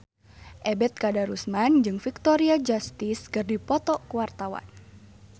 Ebet Kadarusman jeung Victoria Justice keur dipoto ku wartawan